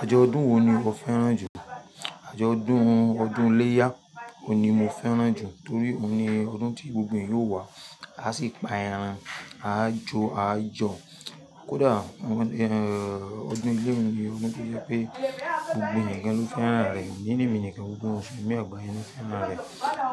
Àjọ̀ ọdún wo ni o fẹ́ràn jù? Àjọ̀ ọdún, ọdún iléyá ni mo fẹ́ràn jù torí òun ni ọdún tí gbogbo yín yóò wá, a sì pa ẹran, a jó a jó. Kódà ọdún ilé mi ni ọdún tí ó jẹ́ pé gbogbo ènìyàn ki n lo fẹ́ràn rẹ̀, gbogbo ènìyàn mi nìkan gbogbo wọn sun ní àgbáyé yìí ló